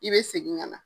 I bɛ segin ka na